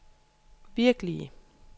virkelige